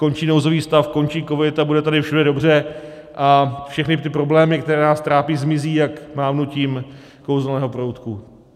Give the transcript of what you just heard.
Skončí nouzový stav, končí covid a bude tady všude dobře a všechny ty problémy, které nás trápí, zmizí jak mávnutím kouzelného proutku.